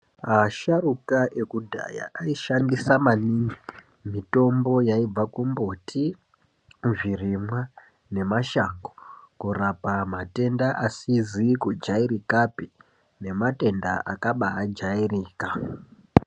Asharuka ekudhaya aishandisa maningi mitombo yaibva kumbuti, kuzvirimwa nemashango kurapa matenda asizi kujairikapi nematenda akabaajairika.